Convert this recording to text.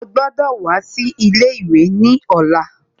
Ó gbọ́dọ̀ wá sí ilé ìwé ní ọ̀la